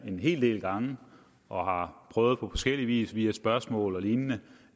en hel del gange og har prøvet på forskellig vis via spørgsmål og lignende